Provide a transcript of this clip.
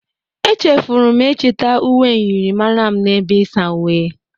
Echefuru m ịchịta uwe myịrịmara m n'ebe isa uwe.